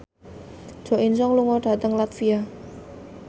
Jo In Sung lunga dhateng latvia